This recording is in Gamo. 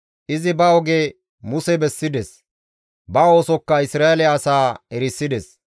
Izi ba oge Muse bessides; ba oosokka Isra7eele asaa erisides.